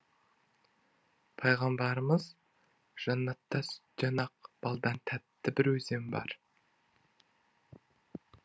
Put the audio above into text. пайғамбарымыз жаннатта сүттен ақ балдан тәтті бір өзен бар